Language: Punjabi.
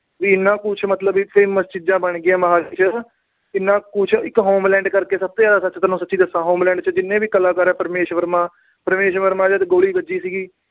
ਵੀ ਇੰਨਾ ਕੁਛ ਮਤਲਬ ਇੱਥੇ ਚੀਜਾਂ ਬਣ ਗਈਆਂ ਮੋਹਾਲੀ ਚ। ਕਿੰਨਾ ਕੁਛ ਇੱਕ homeland ਕਰਕੇ ਸਭ ਤੋਂ ਜਿਆਦਾ ਤੈਨੂੂੰ ਸੱਚੀ ਦੱਸਾ। homeland ਚ ਜਿੰਨੇ ਵੀ ਕਲਾਕਾਰ ਏ- ਪਰਮੀਸ਼ ਵਰਮਾ। ਪਰਮੀਸ਼ ਵਰਮਾ ਜਦ ਗੋਲੀ ਵੱਜੀ ਸੀ